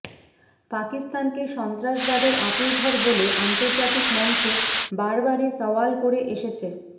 পাকিস্তানকে সন্ত্রাসবাদের আঁতুরঘর বলে আন্তর্জাতিক মঞ্চে বরাবরই সওয়াল করে এসেছে